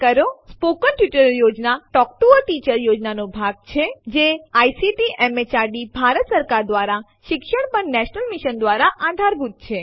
spoken tutorial project a talk to a teacher project નો એક ભાગ છે જે આઇસીટી એમએચઆરડી ભારત સરકાર દ્વારા શિક્ષણ પર નેશનલ મિશન દ્વારા આધારભૂત છે